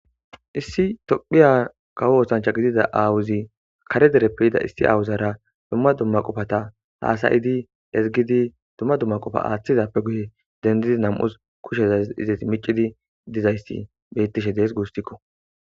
Issi tophiya kawo oosancha gidida aawuzi kare dereppe yida issi awuzara dumma dumma qofata haasayidi ezigidi dumma dumma qofa aaththizappe guye dendidi nam'us kushezaz izeti micidi dizayssi bettishe dees guustikko